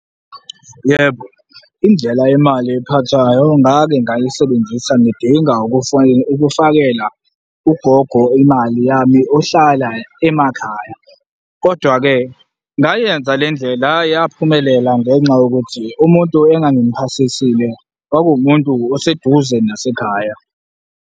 Yebo, indlela yemali ephathwayo ngake ngayisebenzisa, ngidinga ukufakela ugogo imali yami, ohlala emakhaya. kodwa-ke, ngayiyenza le ndlela, hhayi, yaphumelela ngenxa yokuthi umuntu engangimuphathisile kwakuwumuntu oseduze nasekhaya.